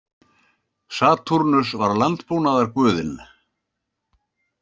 Satúrnus var landbúnaðarguðinn.